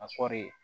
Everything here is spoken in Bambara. A kɔɔri